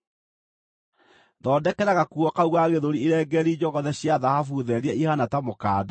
“Thondekera gakuo kau ga gĩthũri irengeeri njogothe cia thahabu therie ihaana ta mũkanda.